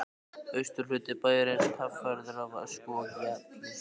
Austurhluti bæjarins kaffærður af ösku og gjalli.